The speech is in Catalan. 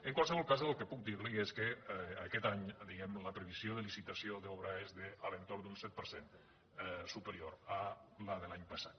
en qualsevol cas el que puc dir li és que aquest any diguem ne la previsió de licitació d’obra és de l’entorn d’un set per cent superior a la de l’any passat